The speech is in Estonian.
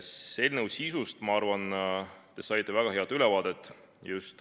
Eelnõu sisust, ma arvan, saite te just väga hea ülevaate.